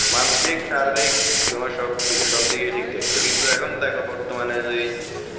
মানসিক শারীরিক তোমার সব সব দিকেই ঠিক থাকতো কিন্তু এখন দেখো বর্তমানে যে